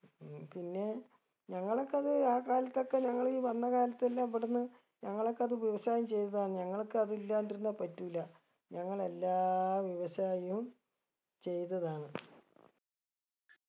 ഉം പിന്നെ ഞങ്ങളൊക്കത് ആ കാലത്തൊക്കെ ഞങ്ങള് വന്ന കാലത്തെല്ലാ ഇവടന്ന് ഞങ്ങളൊക്കെ അത് വ്യവസായം ചെയ്തതാണ് ഞങ്ങളൊക്കെ അതില്ലാണ്ടിരുന്ന പറ്റൂല ഞങ്ങളെല്ലാ വ്യവസായവും ചെയ്തതാണ്